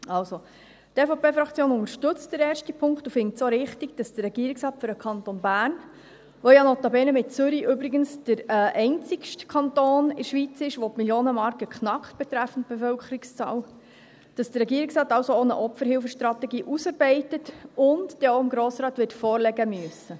Also: Die EVP-Fraktion unterstützt den ersten Punkt und findet es auch richtig, dass der Regierungsrat für den Kanton Bern – der ja notabene neben Zürich übrigens der einzige Kanton der Schweiz ist, der die Millionenmarke betreffend Bevölkerungszahl knackt – auch eine Opferhilfestrategie ausarbeitet und sie dann auch dem Grossen Rat wird vorlegen müssen.